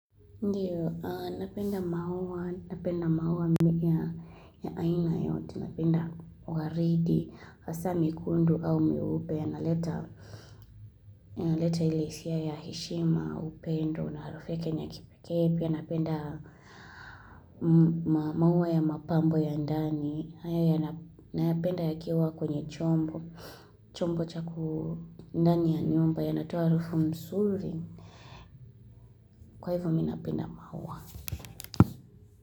Ndiyo, napenda maua, napenda maua ya aina yote, napenda waridi, asa mikundu au meupe, inaleta ili isia ya heshima, upendo, na harufu yake ni ya kipekee pia napenda maua ya mapambo ya ndani, nayapenda yakiwa kwenye chombo cha ndani ya nyumba yanatoa harufu msuri, kwa hivyo mi napenda maua.